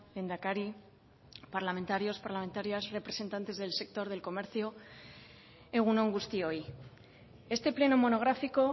lehendakari parlamentarios parlamentarias representantes del sector del comercio egun on guztioi este pleno monográfico